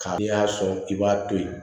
Ka n'i y'a sɔn i b'a to yen